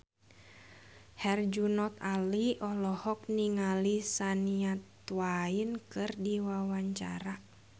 Herjunot Ali olohok ningali Shania Twain keur diwawancara